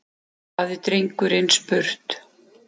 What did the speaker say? hafði drengurinn spurt.